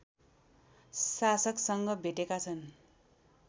शासकसँग भेटेका छन्